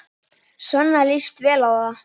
Svenna líst vel á það.